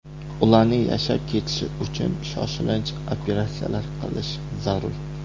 Ularning yashab ketishi uchun shoshilinch operatsiyalar qilish zarur.